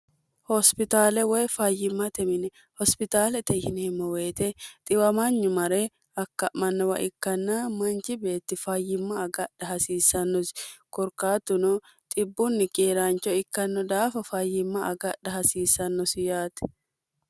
hospitaale woy fayyimmate mini hospitaalete hinihemmo woyite xiwamanyu mare akka'mannowa ikkanna manchi beetti fayyimma agadha hasiissannosi korqaattuno xibbunni geeraancho ikkanno daafa fayyimma agadha hasiissannosi yaati